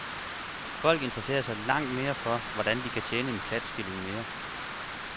Folk interesserer sig langt mere for, hvordan de kan tjene en klatskilling mere.